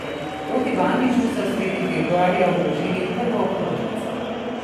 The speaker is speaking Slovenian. Proti Bandiću so sredi februarja vložili prvo obtožnico.